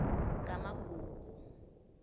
kamagugu